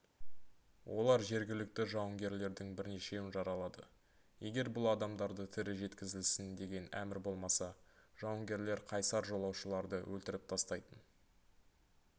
олар жергілікті жауынгерлердің бірнешеуін жаралады егер бұл адамдарды тірі жеткізілсін деген әмір болмаса жауынгерлер қайсар жолаушыларды өлтіріп тастайтын